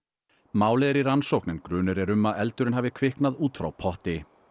málið er í rannsókn en grunur er um að eldurinn hafi kviknað út frá potti